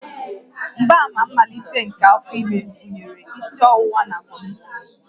Mgbaàmà mmalite nke afọ ime gụnyere isi ọwụwa na vomiting